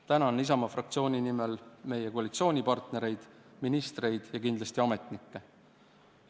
Tänan Isamaa fraktsiooni nimel meie koalitsioonipartnereid, ministreid ja kindlasti ametnikke!